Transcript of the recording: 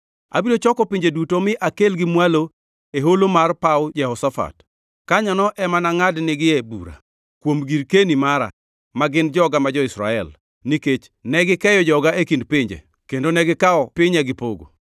Abiro choko pinje duto mi akelgi mwalo e Holo mar paw Jehoshafat. Kanyono ema anangʼad nigi e bura, kuom girkeni mara, ma gin joga ma jo-Israel, nikech negikeyo joga e kind pinje kendo gikawo pinya gipogo.